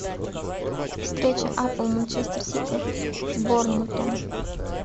встреча апл манчестер сити с борнмутом